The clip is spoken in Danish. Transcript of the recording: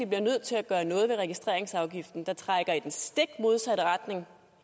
bliver nødt til at gøre noget ved registreringsafgiften der trækker i den stikmodsatte retning